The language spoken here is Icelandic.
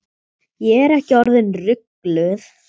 Ég er ekki orðin rugluð.